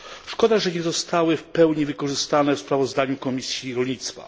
Szkoda, że nie zostały w pełni wykorzystane w sprawozdaniu Komisji Rolnictwa.